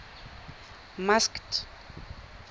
masked